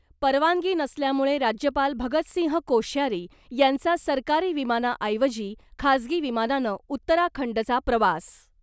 परवानगी नसल्यामुळे राज्यपाल भगतसिंह कोश्यारी यांचा सरकारी विमानाऐवजी खासगी विमानानं उत्तराखंडचा प्रवास .